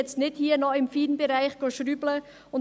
Es soll nicht hier im Feinbereich geschraubt werden.